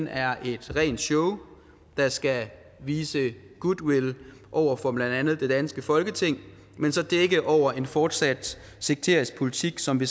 er et rent show der skal vise goodwill over for blandt andet det danske folketing men så dække over en fortsat sekterisk politik som vi